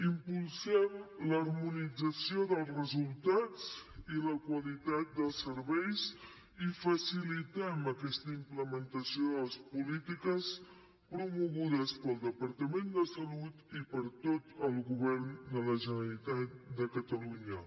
impulsem l’harmonització dels resultats i la qualitat dels serveis i facilitem aquesta implementació de les polítiques promogudes pel departament de salut i per tot el govern de la generalitat de catalunya